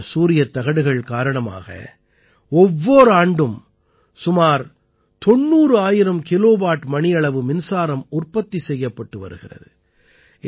இன்று இந்த சூரியத் தகடுகள் காரணமாக ஒவ்வோர் ஆண்டும் சுமார் 90000 கிலோவாட் மணியளவு மின்சாரம் உற்பத்தி செய்யப்பட்டு வருகிறது